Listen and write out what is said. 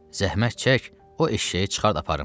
Zəhmət çək o eşşəyi çıxart aparım.